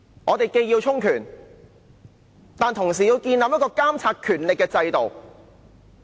我們既要充權，但同時要建立一個監察權力的制度。